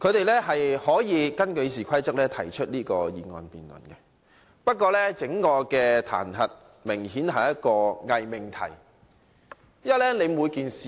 他們可以根據《議事規則》提出這項議案辯論，但這次彈劾明顯是一個偽命題。